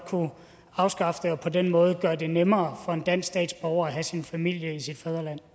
afskaffe det og på den måde gøre det nemmere for en dansk statsborger at have sin familie i sit